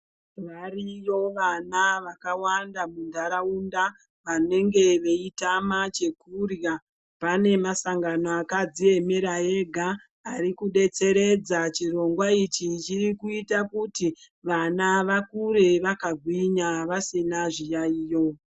Variyo vana vakawanda muntaraunda vanenga veitama chekurya pane masangano akadziemera ega ari kudetseredza chirongwa ichi chiri kuita kuti vana vakure vakagwinya vasina zviyaiyo.